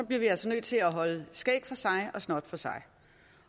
vi altså nødt til at holde skæg for sig og snot for sig